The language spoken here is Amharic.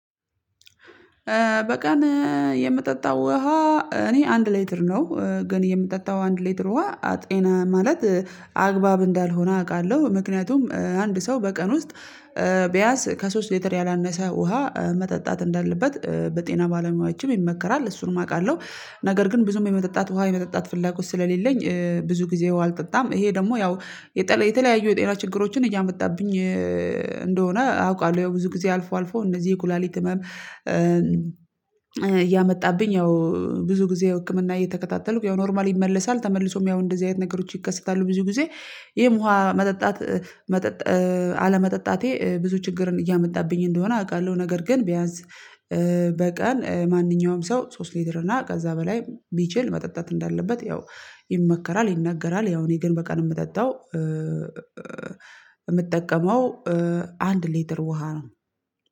በቀን የምጠጣው ውሃ እኔ አንድ ሌትር ነው ግን የምጠጣው አንድ ሌትር ውሃ ጤና ማለት አግባብ እንዳልሆነ አውቃለሁ። ምክንያቱም አንድ ሰው በቀን ውስጥ ቢያስ ከሶስት ሊትር ያላነሰ ውሃ መጠጣት እንዳለበት በጤና ባለሙያዎችም ይመከራል እሱንም አውቃለሁ። ነገር ግን ብዙም የመጠጣት ውሃ የመጠጣት ፍላጎት ስለሌለኝ ብዙ ጊዜ አልጠጣም። ይሄ ደግሞ ያው የተለያዩ የጤና ችግሮችን እያመጣብኝ እንደሆነ አውቃለሁ። ያው ብዙ ጊዜ አልፎ አልፎ እነዚህ የኩላሊት ህመም እያመጣብኝ ያው ብዙ ጊዜ የህክምና እየተከታተልኩ ያው ኖርማል ይመለሳል ተመልሶም ያው እንደዚህ አይነት ነገሮች ይከሰታሉ። ብዙ ጊዜ። ይሄም ውሃ መጠጣት መጠጥ አለመጠጣቴ ብዙ ችግርን እያመጣብኝ እንደሆነ አውቃለሁ። ነገር ግን ቢያንስ በቀን ማንኛውም ሰው ሶስት ሊድር እና ከዛ በላይ ቢችል መጠጣት እንዳለበት ያው ይመከራል። ይናገራል ያው እኔ ግን በቀን የምጠጣው የምጠቀመው አንድ ሊትር ውሃ ነው።